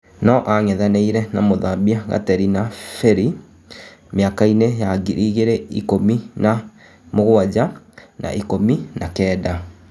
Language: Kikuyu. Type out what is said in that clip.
Noang'ethanĩ ire na Mũthambia Gaterina Birĩ mĩ akainĩ ya ngiri igĩ rĩ na ikũmi na mũgwanja na ikûmi na kenda.